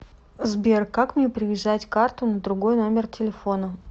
сбер как мне привязать карту на другой номер телефона